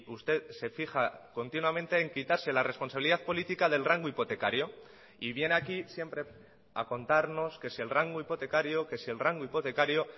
usted se fija continuamente en quitarse la responsabilidad política del rango hipotecario y viene aquí siempre a contarnos que si el rango hipotecario que si el rango hipotecario